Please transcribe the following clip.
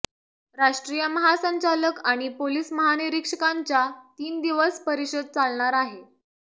राष्ट्रीय महासंचालक आणि पोलीस महानिरीक्षकांच्या तीन दिवस परिषद चालणार आहे